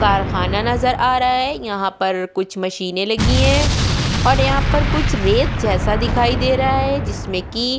कारखाना नज़र आ रहा है यहाँ पर कुछ मशीनें लगी हैं और यहाँ पर कुछ रेत जैसा दिखाई दे रहा है जिसमें कि --